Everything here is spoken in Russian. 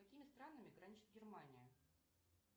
с какими странами граничит германия